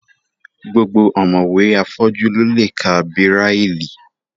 Gbogbo ọ̀mọ̀wé afọ́jú ló lè ka bíráílì